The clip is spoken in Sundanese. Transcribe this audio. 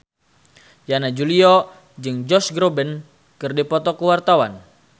Yana Julio jeung Josh Groban keur dipoto ku wartawan